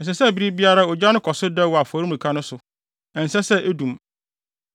Ɛsɛ sɛ bere biara ogya no kɔ so dɛw wɔ afɔremuka no so; ɛnsɛ sɛ edum.